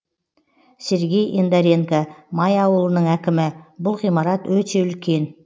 сергей ендоренко май ауылының әкімі бұл ғимарат өте үлкен